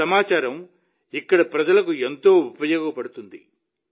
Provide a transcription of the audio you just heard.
ఈ సమాచారం ఇక్కడి ప్రజలకు ఎంతో ఉపయోగపడుతుంది